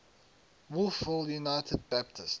wolfville united baptist